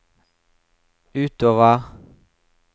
utover